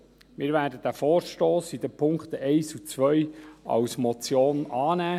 Wir werden diesen Vorstoss in den Punkten 1 und 2 als Motion annehmen.